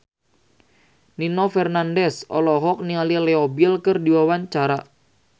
Nino Fernandez olohok ningali Leo Bill keur diwawancara